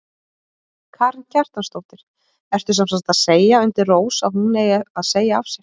Karen Kjartansdóttir: Ertu semsagt að segja undir rós að hún eigi að segja af sér?